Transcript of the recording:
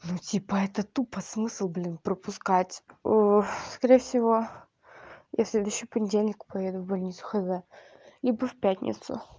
ну типа это тупо смысл блин пропускать скорее всего я в следующий понедельник поеду в больницу хз либо в пятницу